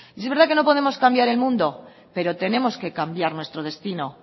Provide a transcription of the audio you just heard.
y es verdad que no podemos cambiar el mundo pero tenemos que cambiar nuestro destino